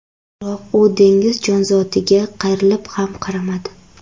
Biroq u dengiz jonzotiga qayrilib ham qaramadi .